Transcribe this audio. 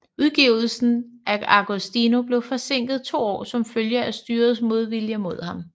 Udgivelsen af Agostino blev forsinket to år som følge af styrets modvilje mod ham